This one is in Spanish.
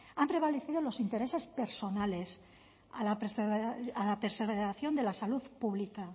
han prevalecido los intereses personales a la preservación de la salud pública